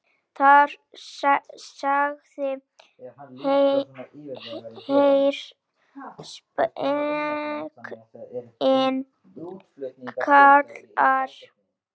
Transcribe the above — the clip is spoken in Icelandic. Þar segir: Heyr, spekin kallar.